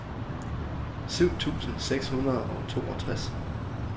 syv tusind seks hundrede og toogtres